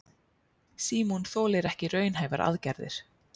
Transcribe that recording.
Símon þolir ekki raunhæfar aðgerðir.